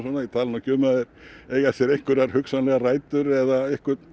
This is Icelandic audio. ég tala nú ekki um ef þeir eiga sér einhverjar hugsanlegar rætur eða